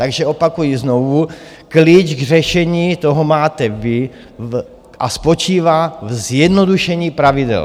Takže opakuji znovu, klíč k řešení toho máte vy, a spočívá v zjednodušení pravidel.